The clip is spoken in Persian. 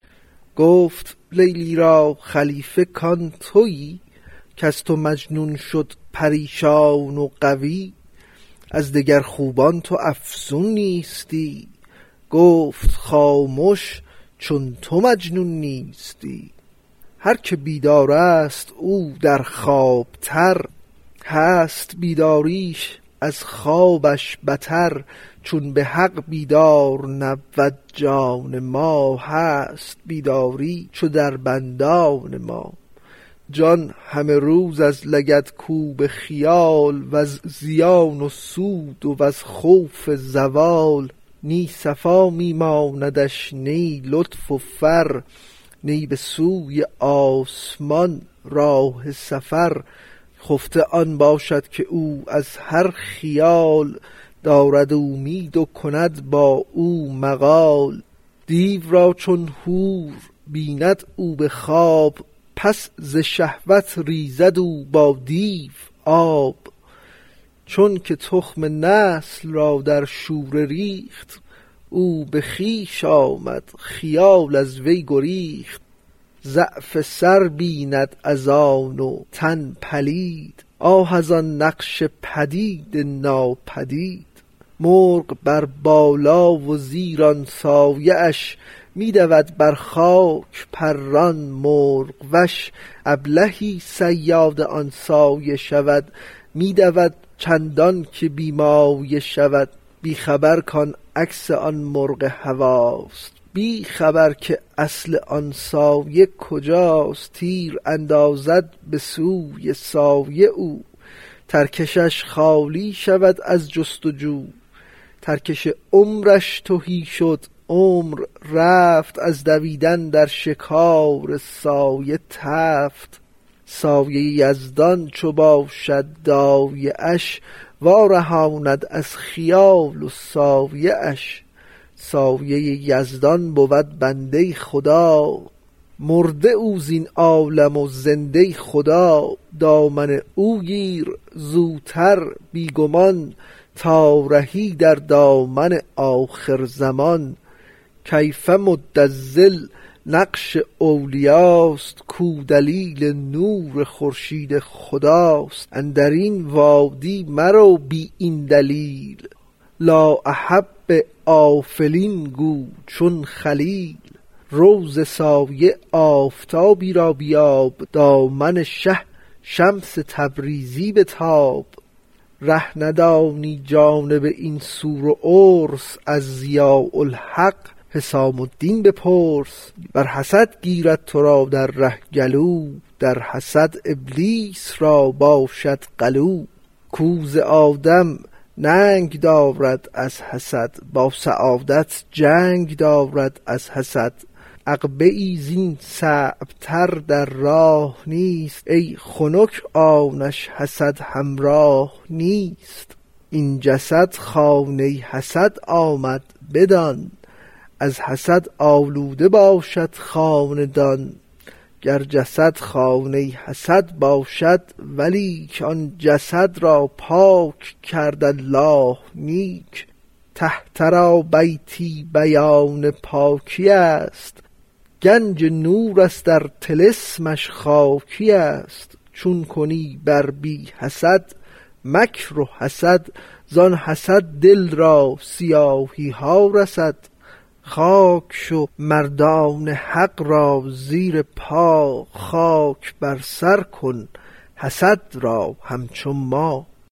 گفت لیلی را خلیفه کان توی کز تو مجنون شد پریشان و غوی از دگر خوبان تو افزون نیستی گفت خامش چون تو مجنون نیستی هر که بیدارست او در خواب تر هست بیداریش از خوابش بتر چون بحق بیدار نبود جان ما هست بیداری چو در بندان ما جان همه روز از لگدکوب خیال وز زیان و سود وز خوف زوال نی صفا می ماندش نی لطف و فر نی به سوی آسمان راه سفر خفته آن باشد که او از هر خیال دارد اومید و کند با او مقال دیو را چون حور بیند او به خواب پس ز شهوت ریزد او با دیو آب چونک تخم نسل را در شوره ریخت او به خویش آمد خیال از وی گریخت ضعف سر بیند از آن و تن پلید آه از آن نقش پدید ناپدید مرغ بر بالا و زیر آن سایه اش می دود بر خاک پران مرغ وش ابلهی صیاد آن سایه شود می دود چندانکه بی مایه شود بی خبر کان عکس آن مرغ هواست بی خبر که اصل آن سایه کجاست تیر اندازد به سوی سایه او ترکشش خالی شود از جست و جو ترکش عمرش تهی شد عمر رفت از دویدن در شکار سایه تفت سایه یزدان چو باشد دایه اش وا رهاند از خیال و سایه اش سایه یزدان بود بنده ی خدا مرده او زین عالم و زنده ی خدا دامن او گیر زوتر بی گمان تا رهی در دامن آخر زمان کيۡف مد ٱلظل نقش اولیاست کو دلیل نور خورشید خداست اندرین وادی مرو بی این دلیل لآ أحب ٱلۡأٓفلين گو چون خلیل رو ز سایه آفتابی را بیاب دامن شه شمس تبریزی بتاب ره ندانی جانب این سور و عرس از ضیاء الحق حسام الدین بپرس ور حسد گیرد ترا در ره گلو در حسد ابلیس را باشد غلو کو ز آدم ننگ دارد از حسد با سعادت جنگ دارد از حسد عقبه ای زین صعب تر در راه نیست ای خنک آنکش حسد همراه نیست این جسد خانه ی حسد آمد بدان از حسد آلوده باشد خاندان گر جسد خانه ی حسد باشد ولیک آن جسد را پاک کرد الله نیک طهرا بیتی بیان پاکی است گنج نورست ار طلسمش خاکی است چون کنی بر بی حسد مکر و حسد زان حسد دل را سیاهی ها رسد خاک شو مردان حق را زیر پا خاک بر سر کن حسد را همچو ما